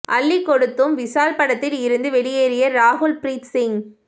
அள்ளிக் கொடுத்தும் விஷால் படத்தில் இருந்து வெளியேறிய ராகுல் ப்ரீத் சிங்